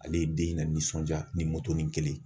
Ale ye den la nisɔndiya ni kelen ye.